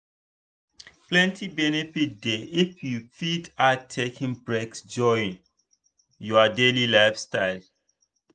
plenty benefit dey if you fit add taking breaks join your daily lifestyle.